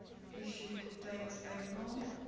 issue date april